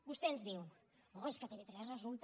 vostè ens diu oh és que tv3 resulta